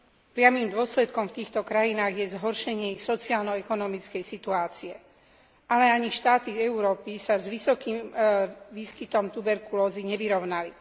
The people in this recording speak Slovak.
Priamym dôsledkom v týchto krajinách je zhoršenie ich sociálno ekonomickej situácie. Ale ani štáty Európy sa s vysokým výskytom tuberkulózy nevyrovnali.